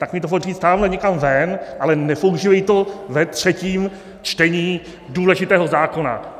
Tak mi to pojď říct tamhle někam ven, ale nepoužívej to ve třetím čtení důležitého zákona!